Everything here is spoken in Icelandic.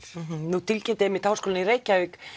nú tilkynnti einmitt Háskólinn í Reykjavík